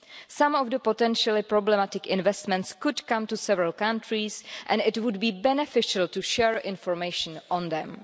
Some of the potentially problematic investments could come to several countries, and it would be beneficial to share information on them.